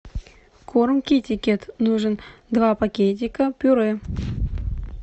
корм китикет нужен два пакетика пюре